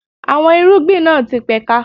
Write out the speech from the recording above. Àwọn irúgbìn náà ti pẹ̀ka.